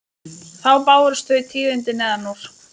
Þá bárust þau tíðindi neðan úr